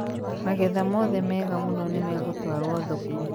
magetha mothe mega mũno nĩmegũtuarwo thoko